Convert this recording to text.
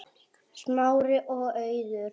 Smári og Auður.